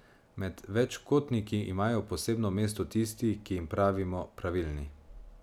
Med večkotniki imajo posebno mesto tisti, ki jim pravimo pravilni.